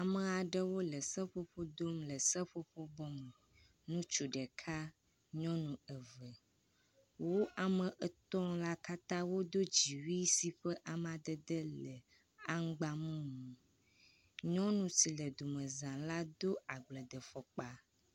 Ame aɖewo le seƒoƒo dom le seƒoƒo bɔ me. Ŋutsu ɖeka, nyɔnu eve, woametɔ̃ katã wodo dziwui si ƒe amadede le amŋgbamumu. Nyɔnu si le domezã la do agbledefɔkpa